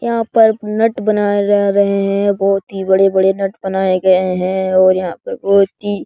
यहाँ पर नट बनाये जा रहे हैं यहाँ बहुत ही बड़े-बड़े नट बनाये गए हैं और यहाँ पर बहुत ही --